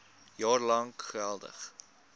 jaar lank geldig